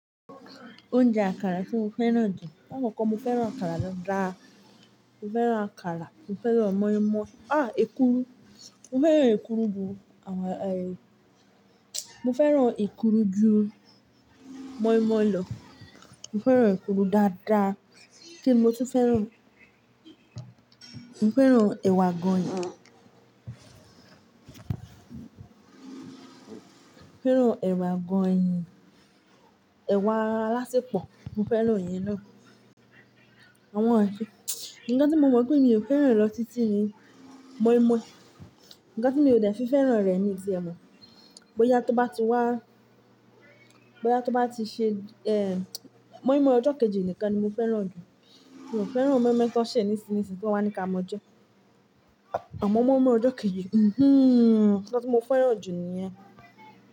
Oúnjẹ àkàrà tí mo fẹ́ràn jù. Ní akọ̀ọ̀ko mo fẹ́ràn àkàrà dáadáa. Mo fẹ́ràn àkàrà, mo fẹ́ràn moinmoin. Àh! Èkuru. Mo fẹ́ràn èkuru jù àwa, ẹ Mo fẹ́ràn èkuru jù moi moi lọ. Mo fẹ́ràn èkuru dáadáa. Kíni mo tún fẹ́ràn? Mo fẹ́ràn ẹ̀wà àgọ̀nyìn. Mo fẹ́ràn ẹ̀wà àgọ̀nyìn, ẹ̀wà alásepọ̀ mo fẹ́ràn èyí náà. Àwọn èyí. Ǹkan tí mo mọ̀ mọ́ pé mi ò fẹ́ràn rẹ̀ lọ títí ni moinmoin. Ǹkan tí mi ò de se fẹ́ràn rẹ̀ mi o tie mọ́. Bóyá tó bá ti wá, bóyá tó bá ti ṣe, ẹ Moi moi ọjọ́ kejì nìkan ni mo fẹ́ràn jù. Mi ò fẹ́ràn moinmoin ti woń ṣẹ̀ nísìńnisìń tí wọ́n wa ní ká mọ jẹ́. Àmọ́ moinmoin ọjọ́ kejì, mm-hmm, nkan tí mo fẹ́ràn jù ni ẹ́.